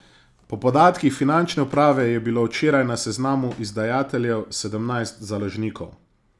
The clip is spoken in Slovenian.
Po podatkih finančne uprave je bilo včeraj na seznamu izdajateljev sedemnajst založnikov.